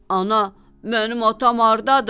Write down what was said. “Ana, mənim atam hardadır?”